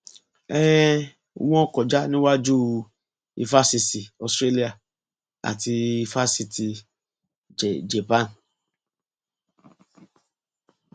um wọn kọjá níwájú éfásisì australia àti éfásitì japan